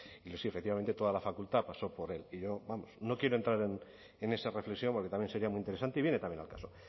sí efectivamente toda la facultad pasó por él y yo vamos no quiero entrar en esa reflexión porque también sería muy interesante y viene también al caso